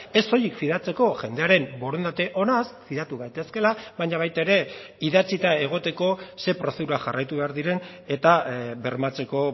ez soilik fidatzeko jendearen borondate onaz fidatu gaitezkela baina baita ere idatzita egoteko ze prozedura jarraitu behar diren eta bermatzeko